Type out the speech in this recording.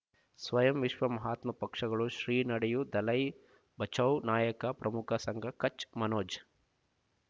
ಸ್ವಯಂ ವಿಶ್ವ ಮಹಾತ್ಮ ಪಕ್ಷಗಳು ಶ್ರೀ ನಡೆಯೂ ದಲೈ ಬಚೌ ನಾಯಕ ಪ್ರಮುಖ ಸಂಘ ಕಚ್ ಮನೋಜ್